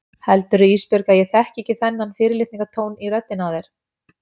Heldurðu Ísbjörg að ég þekki ekki þennan fyrirlitningartón í röddinni á þér?